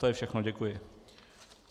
To je všechno, děkuji.